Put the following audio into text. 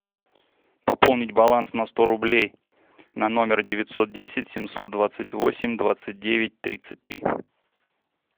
пополнить баланс на сто рублей на номер девятьсот десять семьсот двадцать восемь двадцать девять тридцать три